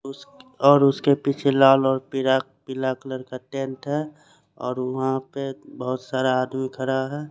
उस और उसके पीछे में लाल और पीला कलर का टेंट है और वहा पे बोहोत सारा आदमी खड़ा है ।